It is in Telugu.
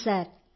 అవును సార్